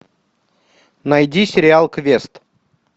найди сериал квест